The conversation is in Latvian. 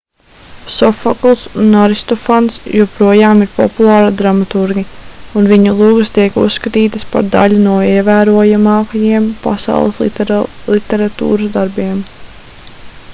sofokls un aristofans joprojām ir populāri dramaturgi un viņu lugas tiek uzskatītas par daļu no ievērojamākajiem pasaules literatūras darbiem